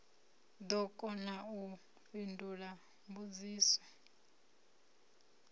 ḓo kona u fhindula mbudziso